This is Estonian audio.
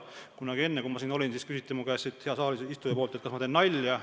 Kunagi enne, kui ma siin olin, küsis üks saalisistuja mu käest, kas ma teen nalja.